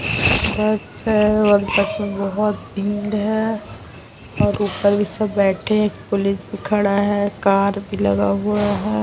बस है और बस में बोहोत भीड़ है और ऊपर भी सब बैठे हैं। एक पुलिस भी खड़ा है। कार भी लगा हुआ है।